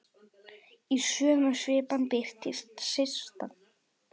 Í sömu svipan birtist Systa.